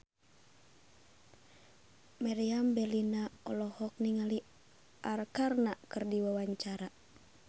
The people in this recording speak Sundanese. Meriam Bellina olohok ningali Arkarna keur diwawancara